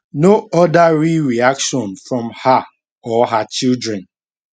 no oda real reaction from her or her children